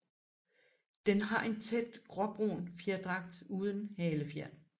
Den har en tæt gråbrun fjerdragt uden halefjer